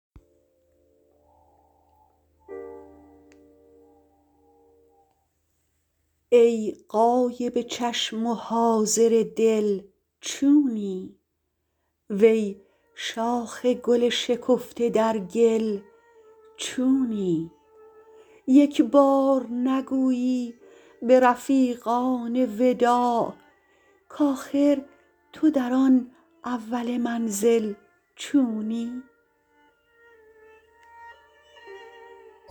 ای غایب چشم و حاضر دل چونی وی شاخ گل شکفته در گل چونی یک بار نگویی به رفیقان وداع کاخر تو در آن اول منزل چونی